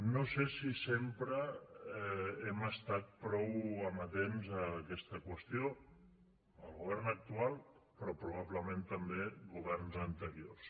no sé si sempre hem estat prou amatents a aquesta qüestió el govern actual però probablement també governs anteriors